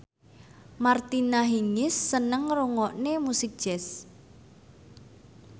Martina Hingis seneng ngrungokne musik jazz